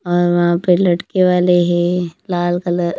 और वहां पे लटके वाले हैं लाल कलर --